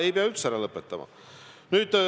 Ei pea üldse ära lõpetama!